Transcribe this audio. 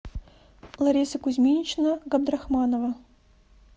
лариса кузьминична габдрахманова